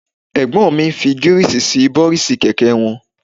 Ẹ̀gbọ́n mi ń fi Gíríìsì sí bọ́rísì kẹ̀kẹ́ wọn